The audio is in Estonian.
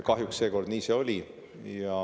Kahjuks see seekord nii oli.